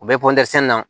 U bɛ na